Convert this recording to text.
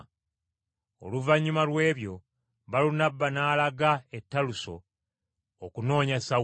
Oluvannyuma lw’ebyo Balunabba n’alaga e Taluso okunoonya Sawulo,